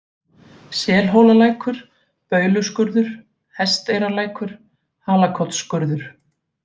Selhólalækur, Bauluskurður, Hesteyrarlækur, Halakotsskurður